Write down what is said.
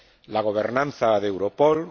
la gobernanza de Europol